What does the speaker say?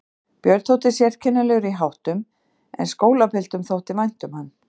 Björn þótti sérkennilegur í háttum en skólapiltum þótti vænt um hann.